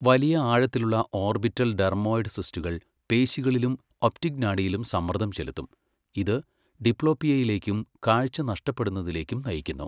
വലിയ ആഴത്തിലുള്ള orbital dermoid സിസ്റ്റുകൾ പേശികളിലും ഒപ്റ്റിക് നാഡിയിലും സമ്മർദ്ദം ചെലുത്തും, ഇത് ഡിപ്ലോപ്പിയയിലേക്കും കാഴ്ച നഷ്ടപ്പെടുന്നതിലേക്കും നയിക്കുന്നു.